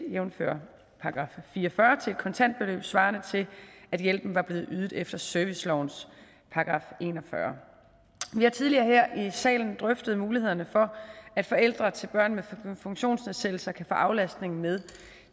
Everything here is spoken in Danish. jævnfør § fire og fyrre til et kontant beløb svarende til at hjælpen var blevet ydet efter servicelovens § en og fyrre vi har tidligere her i salen drøftet mulighederne for at forældre til børn med funktionsnedsættelser kan få aflastningen med